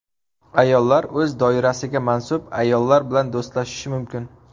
Ayollar o‘z doirasiga mansub ayollar bilan do‘stlashishi mumkin.